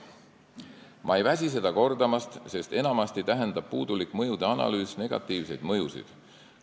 Ma ei väsi seda kordamast, sest enamasti tähendab puudulik mõjude analüüs negatiivseid mõjusid.